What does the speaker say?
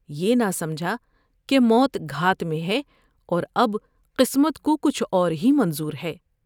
یہ نہ سمجھا کہ موت گھات میں ہے اور اب قسمت کو کچھ اور ہی منظور ہے ۔